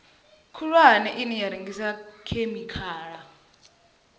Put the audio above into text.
khulwane ine ya rengisa khemikhala